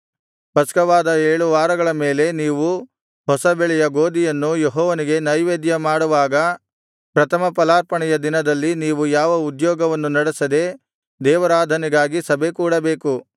ಪಸ್ಕವಾದ ಏಳು ವಾರಗಳ ಮೇಲೆ ನೀವು ಹೊಸ ಬೆಳೆಯ ಗೋದಿಯನ್ನು ಯೆಹೋವನಿಗೆ ನೈವೇದ್ಯಮಾಡುವಾಗ ಪ್ರಥಮಫಲಾರ್ಪಣೆಯ ದಿನದಲ್ಲಿ ನೀವು ಯಾವ ಉದ್ಯೋಗವನ್ನು ನಡೆಸದೆ ದೇವಾರಾಧನೆಗಾಗಿ ಸಭೆಕೂಡಬೇಕು